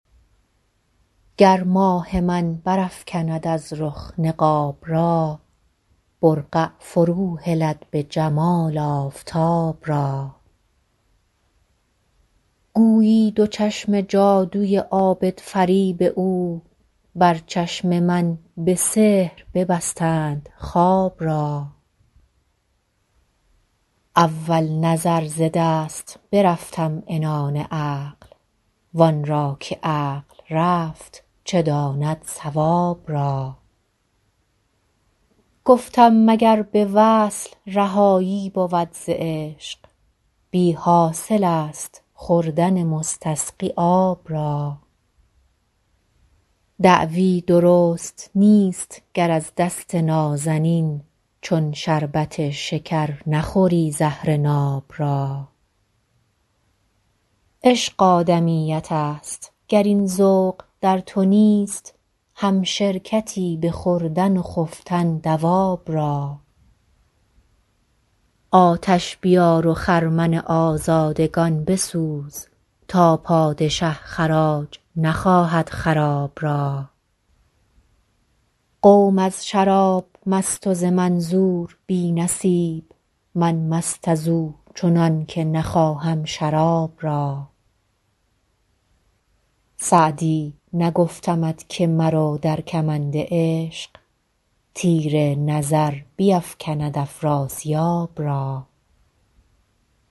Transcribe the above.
گر ماه من برافکند از رخ نقاب را برقع فروهلد به جمال آفتاب را گویی دو چشم جادوی عابدفریب او بر چشم من به سحر ببستند خواب را اول نظر ز دست برفتم عنان عقل وان را که عقل رفت چه داند صواب را گفتم مگر به وصل رهایی بود ز عشق بی حاصل است خوردن مستسقی آب را دعوی درست نیست گر از دست نازنین چون شربت شکر نخوری زهر ناب را عشق آدمیت است گر این ذوق در تو نیست همشرکتی به خوردن و خفتن دواب را آتش بیار و خرمن آزادگان بسوز تا پادشه خراج نخواهد خراب را قوم از شراب مست و ز منظور بی نصیب من مست از او چنان که نخواهم شراب را سعدی نگفتمت که مرو در کمند عشق تیر نظر بیفکند افراسیاب را